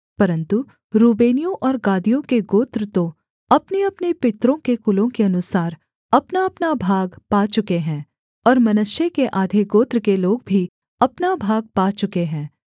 परन्तु रूबेनियों और गादियों के गोत्र तो अपनेअपने पितरों के कुलों के अनुसार अपनाअपना भाग पा चुके हैं और मनश्शे के आधे गोत्र के लोग भी अपना भाग पा चुके हैं